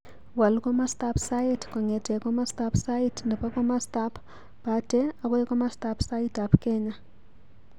Waal komostab sait kongete komostab sait nebo komostab bate agoi komostab saitab Kenya